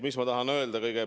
Mis ma tahan öelda?